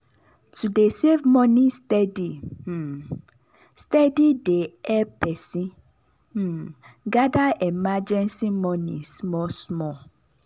to dey save money steady um steady dey help person um gather emergency money small small.